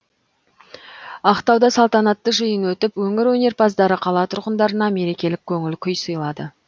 ақтауда салтанатты жиын өтіп өңір өнерпаздары қала тұрғындарына мерекелік көңіл күй сыйлады